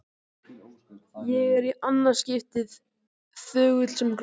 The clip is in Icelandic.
Ég er- í annað skiptið- þögull sem gröfin.